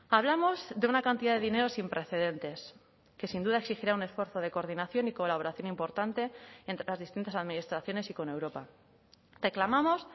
hablamos de una cantidad de dinero sin precedentes que sin duda exigirá un esfuerzo de coordinación y colaboración importante entre las distintas administraciones y con europa reclamamos